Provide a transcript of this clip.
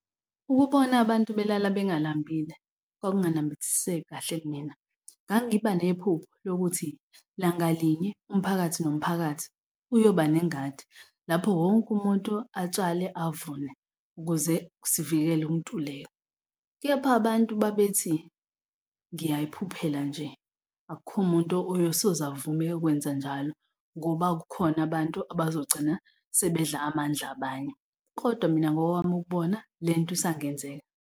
Ukubona abantu belala bengalambile kwakunganambithiseki kahle kimina. Ngangiba nephupho lokuthi langalinye umphakathi nomphakathi uyoba nengadi lapho wonke umuntu atshale avune ukuze sivikele ukuntuleka. Kepha abantu babethi ngiyayiphuphela nje, akukho muntu oyosoze avume ukwenza njalo, ngoba kukhona abantu abazogcina sebedla amandla abanye. Kodwa mina ngokwami ukubona lento isangenzeka.